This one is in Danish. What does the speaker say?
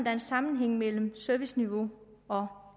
er en sammenhæng mellem serviceniveau og